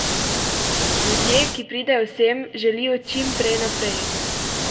Ljudje, ki pridejo sem, želijo čim prej naprej.